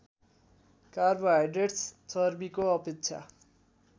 carbohydrates चर्बीको अपेक्षा